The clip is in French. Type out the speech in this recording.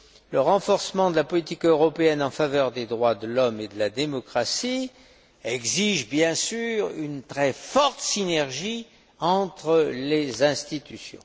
que le renforcement de la politique européenne en faveur des droits de l'homme et de la démocratie exige, bien sûr, une très forte synergie entre les institutions.